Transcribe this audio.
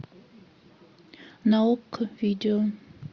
на окко видео